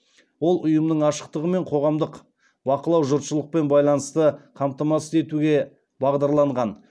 ол ұйымның ашықтығы мен қоғамдық бақылау жұртшылықпен байланысты қамтамасыз етуге бағдарланған